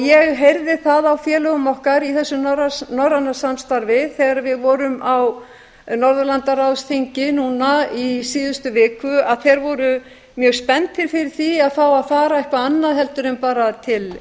ég heyrði á félögum okkar í þessu norræna samstarfi þegar við vorum á norðurlandaráðsþingi í síðustu viku að þeir voru mjög spenntir fyrir því að fá að fara eitthvað annað en bara til